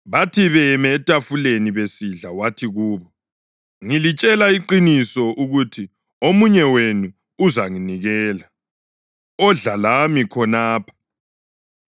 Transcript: Bathi beyeme etafuleni besidla wathi kubo, “Ngilitshela iqiniso ukuthi omunye wenu uzanginikela, odla lami khonapha.”